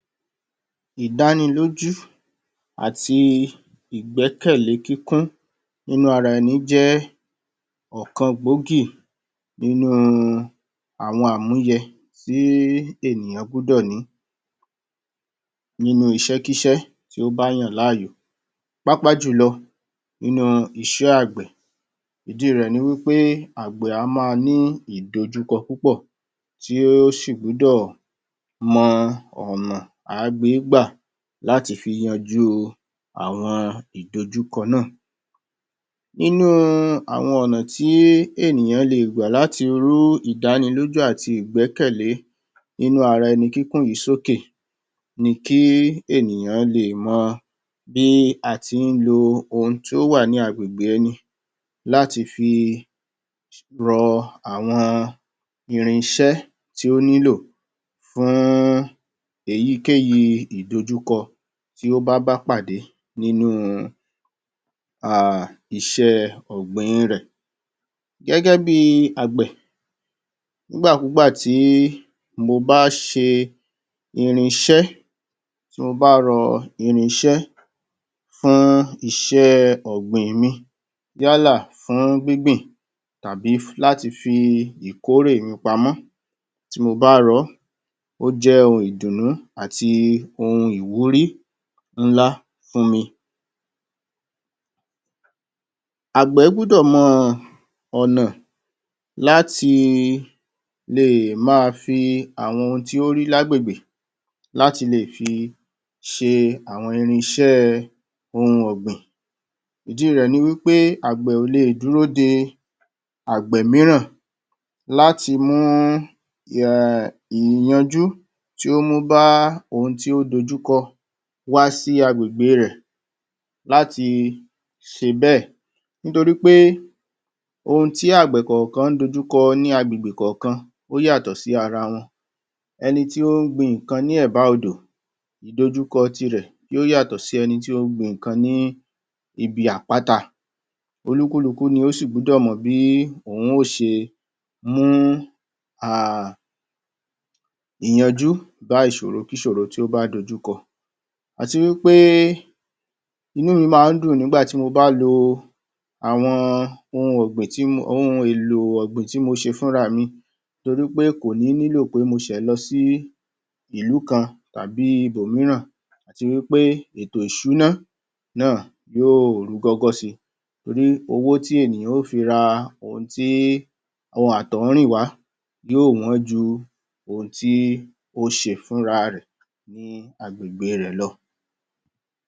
Ìdánilójú àti ìgbẹ́kẹ̀lé kíkún nínú ara ẹni jẹ́ ọ̀kan gbòógì nínú àwọn àmúyẹ tí ènìyàn gbúdọ̀ ní nínú iṣékíṣẹ́ tí ó bá yàn láàyò pàápàá jùlọ nínú iṣẹ́ àgbẹ̀ ìdí rẹ̀ ni wípé àgbẹ̀ á ma ní ìdojúkọ púpọ̀ tí ó sì gbúdọ̀ mọ ọ̀nà à á gbé gbà láti fi yanjú àwọn ìdojúkọ náà inú àwọn ọ̀nà tí ènìyàn le gbà láti rú ìdánilójú àti ìgbẹ́kẹ̀lé inú ara ẹni kíkún yìí sókè ni kí ènìyàn lè mọ bí a tí ń lo ohun tí ó wà ní agbègbè ẹni láti fi rọ àwọn irinṣẹ́ tí ó nílò fún èyíkèyí ìdojúkọ tí óbá bápàdé nínú um iṣẹ́ ọ̀gbìn rẹ̀ gẹ́gẹ́ bi àgbẹ̀ ígbàkúgbà tí mo bá ṣe irinṣẹ́ tí mo bá rọ irinṣẹ́ fún iṣẹ́ ọ̀gbìn mi yálà fun gbíngbín tàbí láti fi ìkórè mi pamọ́ tí mo bá rọ́ ó jẹ́ ohun ìdùǹnú àti ohun ìwúrí ńlá fún mi àgbẹ̀ gbúdọ̀ mọ ọ̀nà láti lè ma fi àwọn ohun tí ó rí l’ágbègbè láti lè fi ṣe àwọn irinṣẹ́ òhun ọ̀gbìn ìdí rẹ̀ ni wípé àgbẹ̀ ò le dúró de àgbẹ̀ mìíràn láti mú um ìyanjú tí ó mú bá ohun tí ó dojúkọ wá sí agbègbè rẹ̀ láti ṣe bẹ̀ nítorí pé ohun tí àgbè kàǹkan dojúkọ ní agbègbè kàǹkan ó yàtọ̀ sí ara wọn ẹni tí ó ń gbin ǹkan ní ẹ̀bá òdò ìdojúkọ ti rẹ̀ yó yàtọ̀ sí ẹni tí ó gbin ǹkan ní ibi àpáta olúkúlukú ni ó sì gbúdọ̀ mọ̀ bí òhun ó ṣe mú um ìyanjú bá ìṣòro-kí-ṣòro tí ó bá dojúkọ àtiwípé inú mi má án dùn nígbà tí mo bá lo àwọn ohun èlò ọ̀gbìn tí mo ṣe fúnrami torípé kò ní nílò pé mo ṣẹ̀ lọ sí ìlú kan tàbí ibòmíràn àtiwípé ètò ìṣúná náà yóò rúgọ́gọ́ si torí owó tí ènìyàn ò fi ra ohun tí ohun atọ̀húnríǹwá yóò wọ́n ju ohun tí o ṣe fún ra rẹ̀ ní agbègbè rẹ̀ lọ